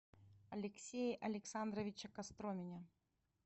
алексее александровиче костромине